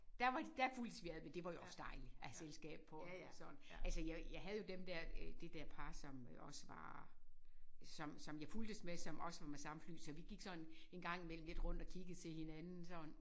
Der var der fulgtes vi ad men det var jo også dejligt at have selskab på sådan altså jeg jeg havde jo dem der øh det der par som også var som som jeg fulgtes med som også var fra samme fly så vi gik sådan engang imellem lidt rundt og kiggede til hinanden sådan